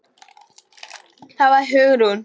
Það var Hugrún!